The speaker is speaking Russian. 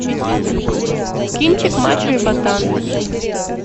кинчик мачо и ботан